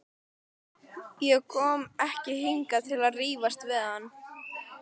Ég kom ekki hingað til að rífast við hann.